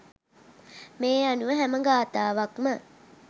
මේ අනුව හැම ගාථාවක්ම